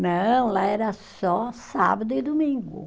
Não, lá era só sábado e domingo.